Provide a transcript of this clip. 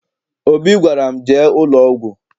Obi gwara m, jee ụlọọgwụ!